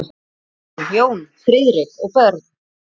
Ásrún, Jón Friðrik og börn.